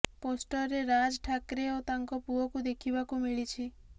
ପୋଷ୍ଟରରେ ରାଜ୍ ଠାକ୍ରେ ଓ ତାଙ୍କ ପୁଅକୁ ଦେଖିବାକୁ ମିଳିଛି